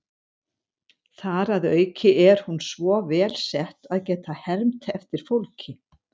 Þar að auki er hún svo vel sett að geta hermt eftir fólki.